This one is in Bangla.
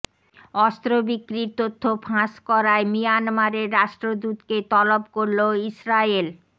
অস্ত্র বিক্রির তথ্য ফাঁস করায় মিয়ানমারের রাষ্ট্রদূতকে তলব করল ইসরায়েল